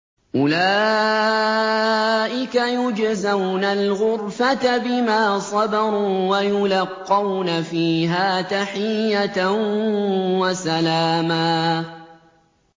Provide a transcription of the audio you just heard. أُولَٰئِكَ يُجْزَوْنَ الْغُرْفَةَ بِمَا صَبَرُوا وَيُلَقَّوْنَ فِيهَا تَحِيَّةً وَسَلَامًا